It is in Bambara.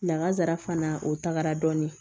Lakazara fana o tagara dɔɔni